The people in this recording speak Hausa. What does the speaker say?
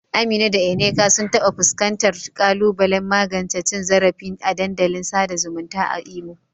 Amina da Nneka sun taɓa fuskantar ƙalubalen magance cin zarafi a dandalin sada zumunta a Imo.